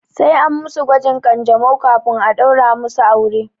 Sai an musu gwajin ƙanjamau kafin a ɗaura musu aure.